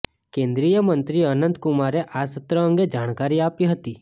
કેન્દ્રીયમંત્રી અનંત કુમારે આ સત્ર અંગે જાણકારી આપી હતી